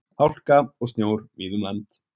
Hálka og snjór víða um land